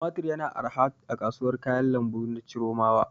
Tumatir yana arha a kasuwar kayan lambu na Chiromawa.